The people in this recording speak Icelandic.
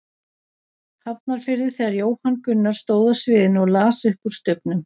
Hafnarfirði þegar Jóhann Gunnar stóð á sviðinu og las upp úr Stubbnum.